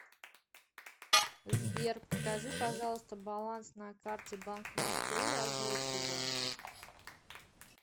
сбер покажи пожалуйста баланс на карте банк москвы и озвучь его